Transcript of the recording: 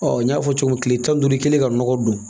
Ɔ n y'a fɔ cogo min kile tan ni duuru kɛ ka nɔgɔ don